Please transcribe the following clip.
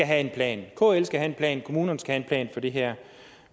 have en plan kl skal have en plan kommunerne skal have en plan for det her